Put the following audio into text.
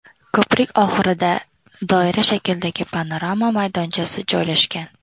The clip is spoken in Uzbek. Ko‘prik oxirida doira shaklidagi panorama maydonchasi joylashgan.